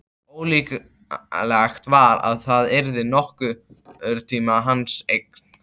Ólíklegt var að það yrði nokkurn tíma hans eign.